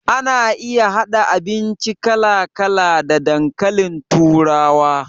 Ana iya haɗa abinci kala kala da dankalin turawa